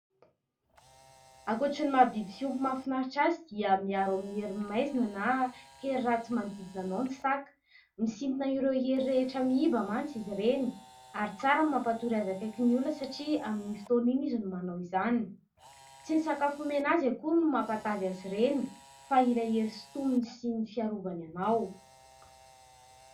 Ankoatran'ny maha biby fiompy mahafinaritra azy dia miaro amin'ny herin'ny maizina na hery ratsy manodidina anao ny saka. Misintona ireo hery rehetra miiba mantsy izy ireny ary tsara ny mampatory azy akaiky ny olona satria amin'iny fotoana iny izy no manao izany. Tsy ny sakafo omena azy akory no mampatavy azy ireny fa ilay hery sintominy sy ny fiarovany anao.